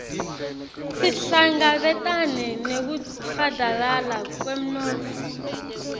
sihlangabetane nekufadalala kwemnotfo